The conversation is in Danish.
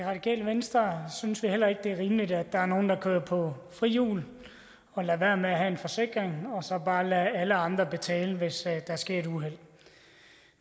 radikale venstre synes vi heller ikke det er rimeligt at der er nogle der kører på frihjul og lader være med at have en forsikring og så bare lader alle andre betale hvis der sker et uheld